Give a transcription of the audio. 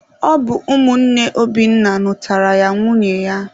Ọ bụ ụmụnne Obinna nụtaara ya nwunye ya.